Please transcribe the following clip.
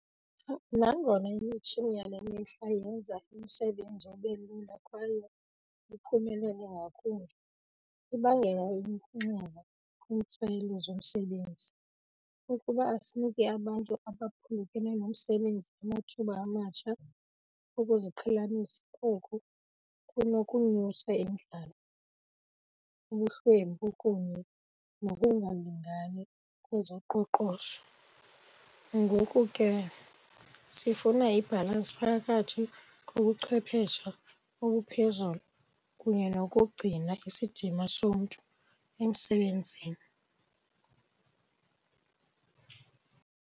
Nangona imitshini yale mihla yenza umsebenzi ube lula kwaye uphumelele ngakumbi, ibangela inxeba kwiintswelo zomsebenzi. Ukuba asiniki abantu aphulukene nomsebenzi amathuba amatsha okuziqhelanisa, oku kunokunyusa indlala, ubuhlwempu kunye nokungalingani kwezoqoqosho. Ngoku ke sifuna ibhalansi phakathi kobuchwephesha obuphezulu kunye nokugcina isidima somntu emsebenzini.